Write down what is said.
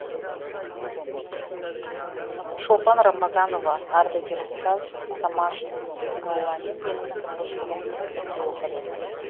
шолпан рамазанова ардагер ұстаз самашев зейнолламен менің тұңғыш ұлым бірге оқыды